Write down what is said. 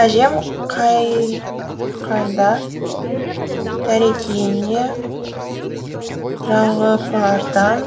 әжем қайтқанда тәрекейіне жағыпардан